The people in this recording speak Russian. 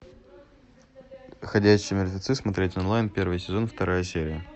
ходячие мертвецы смотреть онлайн первый сезон вторая серия